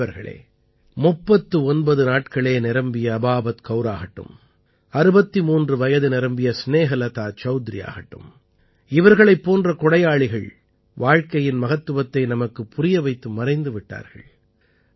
நண்பர்களே 39 நாட்களே நிரம்பிய அபாபத் கௌர் ஆகட்டும் 63 வயது நிரம்பிய ஸ்நேஹலதா சௌத்ரி ஆகட்டும் இவர்களைப் போன்ற கொடையாளிகள் வாழ்க்கையின் மகத்துவத்தை நமக்குப் புரிய வைத்து மறைந்து விட்டார்கள்